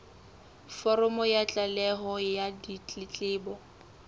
foromo ya tlaleho ya ditletlebo